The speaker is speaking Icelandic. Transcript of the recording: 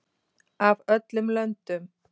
Af öllum löndum.